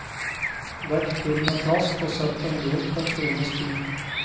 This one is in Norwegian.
Dekk til med plast og sett den lunt en times tid.